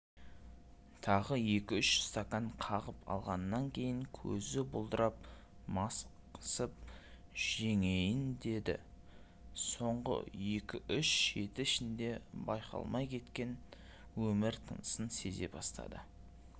тағы екі-үш стакан қағып алғаннан кейін көзі бұлдырап мастық жеңейін деді соңғы екі-үш жеті ішінде байқалмай кеткен өмір тынысын сезе бастады